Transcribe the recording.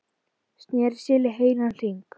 Sneri sér í heilan hring.